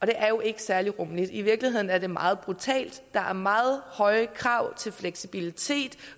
det er jo ikke særlig rummeligt i virkeligheden er det meget brutalt der er meget høje krav til fleksibilitet